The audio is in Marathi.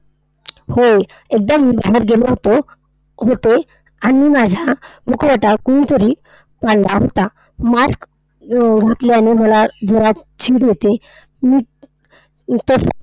होय. एकदा मी बाहेर गेलो होतो होते. आणि माझा मुखवटा कोणीतरी काढला होता. mask घातल्याने मला जोरात चीड येते. मी तसेच